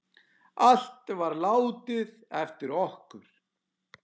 Allt var látið eftir okkur.